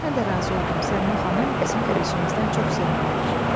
Mən də razı oldum, Səlimə xanım bizim gəlişimizdən çox sevindi.